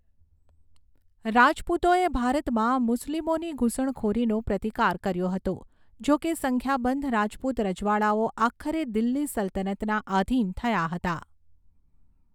રાજપૂતોએ ભારતમાં મુસ્લિમોની ઘૂસણખોરીનો પ્રતિકાર કર્યો હતો, જો કે સંખ્યાબંધ રાજપૂત રજવાડાઓ આખરે દિલ્હી સલ્તનતના આધીન થયા હતા.